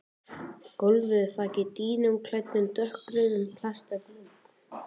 Einnig veitir útbreiðsluhraði bylgnanna nokkra vitneskju um gerð jarðlaga berggrunnsins.